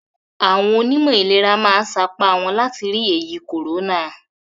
Àwọn onímọ̀ ìlera ma sapa wọ́n láti ri ẹ̀yì còrónà.